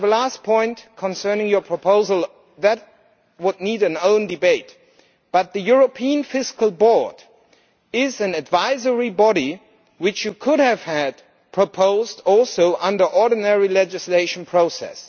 I have one last point concerning your proposal, one which really needs its own debate, but the European Fiscal Board is an advisory body, which you could have had proposed under the ordinary legislative process.